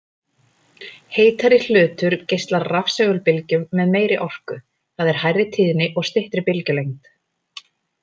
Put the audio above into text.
Heitari hlutur geislar rafsegulbylgjum með meiri orku, það er hærri tíðni og styttri bylgjulengd.